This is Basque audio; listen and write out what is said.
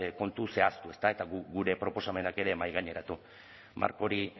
kontu zehaztu eta guk gure proposamenak ere mahaigaineratu marko hori